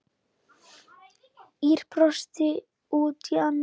Ýr brosti út í annað.